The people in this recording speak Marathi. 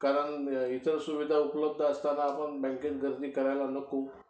कारण इतर सुविधा उपलब्ध असताना आपण बँकेत गर्दी करायला नको.